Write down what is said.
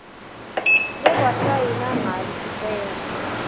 lekwasayinwa ngalo sicelo